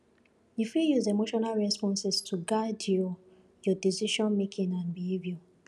you fit use emotional responses to guide your your decisionmaking and behaviour